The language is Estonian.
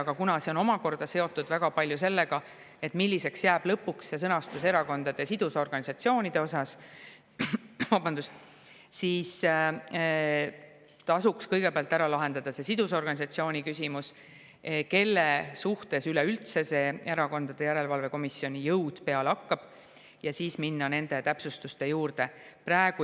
Aga kuna see on omakorda väga palju seotud sellega, milliseks jääb lõpuks erakondade sidusorganisatsioonide sõnastus, siis tasuks kõigepealt ära lahendada see küsimus, milliste sidusorganisatsioonide suhtes see erakondade järelevalve komisjoni jõud üleüldse peale hakkab, ja siis minna nende täpsustuste juurde.